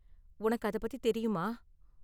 உனக்கு அதைப் பத்தி தெரியுமா?